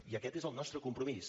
i aquest és el nostre compromís